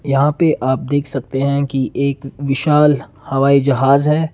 यहां पे आप देख सकते हैं कि एक विशाल हवाई जहाज है।